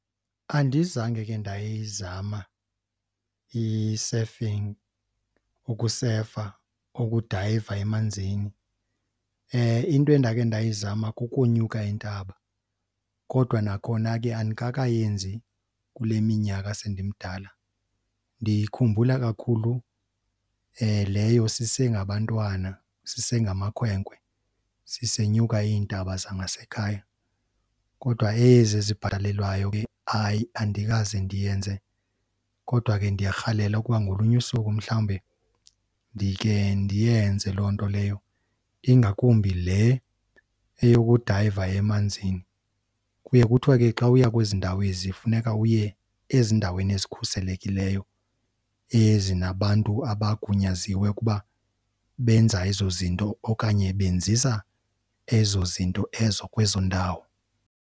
Andizange ke ndayizama i-surfing, ukusefa, ukudayiva emanzini. Into endake ndayizama kukonyuka intaba kodwa nakhona ke andikakayenzi kule minyaka sendimdala. Ndiyikhumbula kakhulu leyo sisengabantwana, sisengamakhwenkwe sisenyuka iintaba zangasekhaya. Kodwa ezi zibhatalelwayo ke hayi andikaze ndiyenze kodwa ke ndiyarhalela ukuba ngolunye usuku mhlawumbe ndikhe ndiyenze loo nto leyo, ingakumbi le eyokudayiva emanzini. Kuye kuthwe ke xa uya kwezi ndawo ezi funeka uye ezindaweni ezikhuselekileyo ezinabantu abagunyaziwe ukuba benza ezo zinto okanye benzisa ezo zinto ezo kwezo ndawo.